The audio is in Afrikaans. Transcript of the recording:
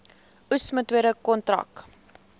oes metode kontrak